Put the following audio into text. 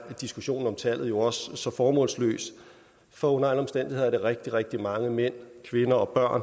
diskussionen om tallet jo også så formålsløs for under alle omstændigheder er det rigtig rigtig mange mænd kvinder og